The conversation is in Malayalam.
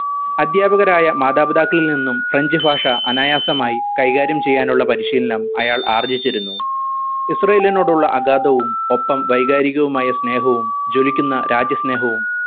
അധ്യാപകരായ മാതാപിതാക്കളിൽ നിന്നും french ഭാഷ അനായാസമായി കൈകാര്യം ചെയ്യാനുള്ള പരിശീലനം അയാൾ ആർജിച്ചിരുന്നു ഇസ്രാഈലിനോടുളളു അഗാധവും ഒപ്പം വൈകാരികവുമായ സ്നേഹവും ജ്വലിക്കുന്ന രാജ്യസ്നേഹവും